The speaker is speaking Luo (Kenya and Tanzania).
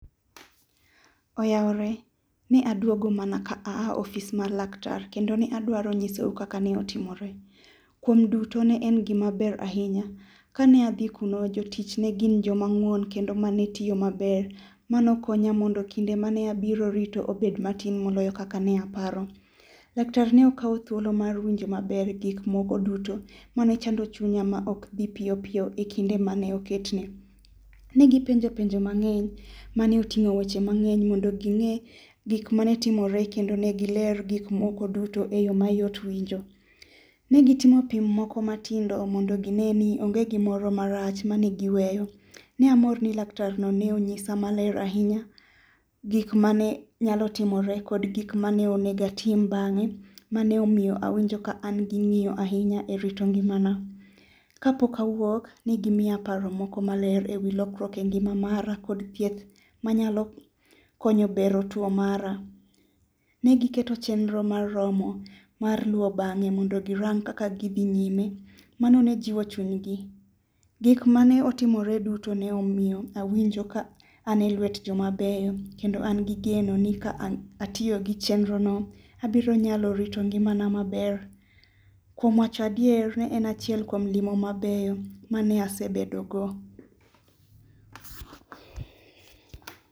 Oyawore ne aduogo mana ka a ofis mar laktar kendo ne adwaro nyisou kaka ne otimore. Kuom duto ne en gima ber ahinya. Kane adhi kuno jotich negin joma ng'uon kendo mane tiyo maber. Mano konya mondo kinde mane abiro rito obed matin moloyo kaka ne aparo. Laktar ne okawo thuolo mar winjo maber gik moko duto mane chando chunya ma ok bi piyo piyo ekinde mane oketne. Negi penja penjo mang'eny mane oting'o weche maang'eny mondo gi ng'e gik mane timore kendo negi ler gik moko duto eyo mayot winjo. Negi gitimo pim moko matindo mondo gine ni onge gimoro marach mane gi weyo. Ne amor ni laktarno ni ne onyisa maler ahinya gik mane nyalo timore kod gik mane onego atim bang'e mane omiyo awinjo ka an gi ng'eyo ahinya erito ngimana. Kapok awuok negi miya paro moko maler ewi lokruok engima mara kod thieth manyalo konyo bero tuo mara. Negi keto chenro moromo mar luwo bang' e mondo girang kaka gidhi nyime. Mano ne jiwo chunygi. Gik mane otimore duto ne omiyo awinjo ka ane lwet joma beyo kendo angi geno ni ka atiyogi chenrono abiro nyalo rito ngimana maber. Kuom wacho adier ne en achiel kuom ngima mabeyo mane asebedogo